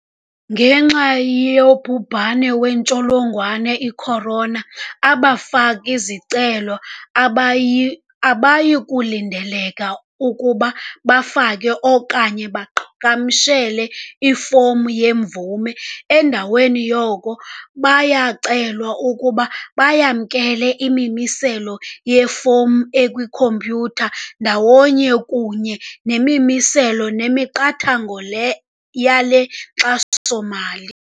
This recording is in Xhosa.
Ngenxa yobhubhane wentsholongwane i-corona, abafaki-zicelo abayi abayikulindeleka ukuba bafake okanye baqhagamshele ifomu yemvume. Endaweni yoko, baya kucelwa ukuba bayamkele imimiselo kwifomu ekwikhompyutha, ndawonye kunye nemimiselo nemiqathango le yale nkxaso-mali.